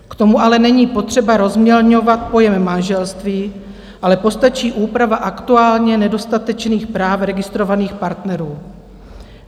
K tomu ale není potřeba rozmělňovat pojem manželství, ale postačí úprava aktuálně nedostatečných práv registrovaných partnerů.